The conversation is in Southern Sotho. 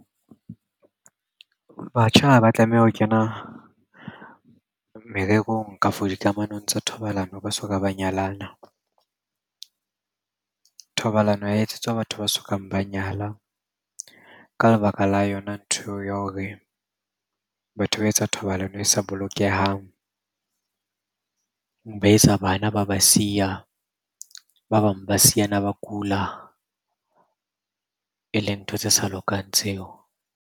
Batjha ha ba tlameha ho kena mererong, kafo dikamanong tsa thobalano ba soka ba nyalana. Thobalano ha ya etsetswa batho ba sokang ba nyala ka lebaka la yona ntho eo ya hore batho ba etsa thobalano e sa bolokehang. Ba etsa bana, ba ba siya, ba bang ba siyana ba kula. E leng ntho tse sa lokang tseo.